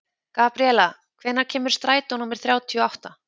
Gabríela, hvenær kemur strætó númer þrjátíu og átta?